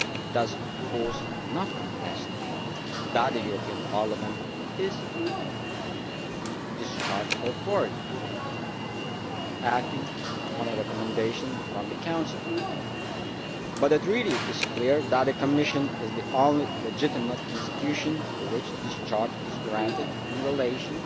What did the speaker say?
does of course not contest that Parliament is the discharge authority acting on a recommendation from the Council, but it really is clear that the Commission is the only legitimate institution to which discharge is granted in relation